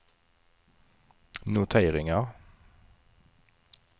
noteringar